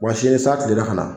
Wa sini ni san tilenna ka na